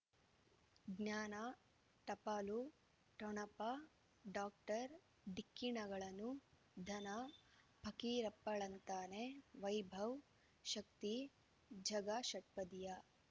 ಜ್ಞಾನ ಟಪಾಲು ಠೊಣಪ ಡಾಕ್ಟರ್ ಢಿಕ್ಕಿ ಣಗಳನು ಧನ ಫಕೀರಪ್ಪ ಳಂತಾನೆ ವೈಭವ್ ಶಕ್ತಿ ಝಗಾ ಷಟ್ಪದಿಯ